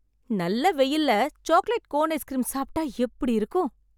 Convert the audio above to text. நல்ல வெயில்ல chocolate cone ice cream சாப்பிட்டா எப்படி இருக்கும்?